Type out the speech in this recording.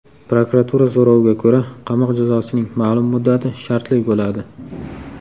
Prokuratura so‘roviga ko‘ra, qamoq jazosining ma’lum muddati shartli bo‘ladi.